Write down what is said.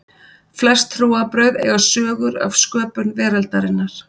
Flest trúarbrögð eiga sögur af sköpun veraldarinnar.